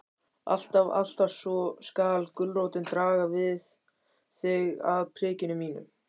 Alltaf, alltaf skal gulrótin draga þig að prikinu mínu.